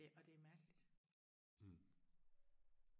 ja og det er mærkeligt